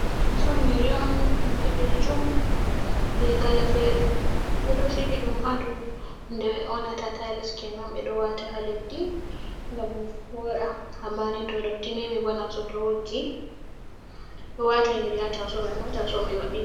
Taso yiri on boɓejum be kale fere ɓedo sigi ɗum ha dou hunde ɓe yonata tiles kenan ɓe ɗo wata ha leddi gam voda Amani to dotti memi bo na saito woggi ɗo wata a nyira ha tasow man amma tasaw man maɓi.